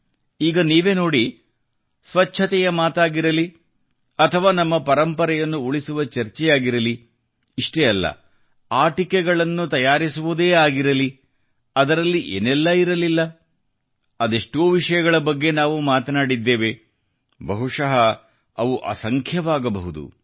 ಈಗ ನೀವೇ ನೋಡಿ ಸ್ವಚ್ಛತೆಯ ಮಾತಾಗಿರಲಿ ಅಥವಾ ನಮ್ಮ ಪರಂಪರೆಯನ್ನು ಉಳಿಸುವ ಚರ್ಚೆಯಾಗಿರಬಹುದು ಇಷ್ಟೇ ಅಲ್ಲ ಆಟಿಕೆಗಳನ್ನು ತಯಾರಿಸುವುದೇ ಆಗಿರಲಿ ಅದರಲ್ಲಿ ಏನೆಲ್ಲ ಇರಲಿಲ್ಲ ಅದೆಷ್ಟೋ ವಿಷಯಗಳ ಬಗ್ಗೆ ನಾವು ಮಾತನಾಡಿದ್ದೇವೆ ಬಹುಶಃಅವು ಅಸಂಖ್ಯವಾಗಬಹುದು